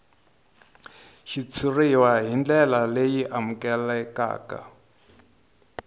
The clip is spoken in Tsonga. xitshuriwa hi ndlela leyi amukelekaka